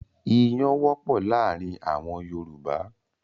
Iyán wọ́pọ̀ láàárin àwọn Yorùbá.